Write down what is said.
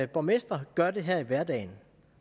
borgmestre gør det her i hverdagen